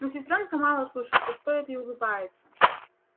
но сестрёнка мало слушается стоит и улыбается